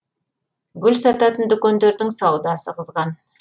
гүл сататын дүкендердің саудасы қызған